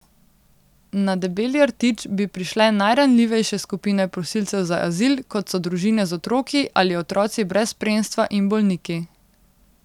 Na Debeli rtič bi prišle najranljivejše skupine prosilcev za azil, kot so družine z otroki ali otroci brez spremstva in bolniki.